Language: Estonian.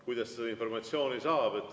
Kuidas seda informatsiooni saab?